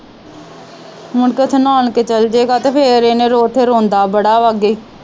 ਮੁੜਕੇ ਉੱਥੇ ਨਾਨਕੇ ਚਲਜੇਗਾ ਤੇ ਫਿਰ ਇਹ ਨੇ ਉੱਥੇ ਰੋਂਦਾ ਬੜਾ ਵਾ ਅੱਗੇ ਈ।